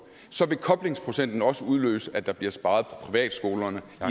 vil koblingsprocenten også udløse at der bliver sparet på privatskolerne